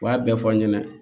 U b'a bɛɛ fɔ n ɲɛna